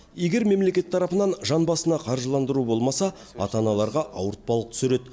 егер мемлекет тарапынан жан басына қаржыландыру болмаса ата аналарға ауыртпалық түсер еді